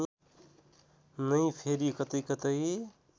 नै फेरि कतैकतै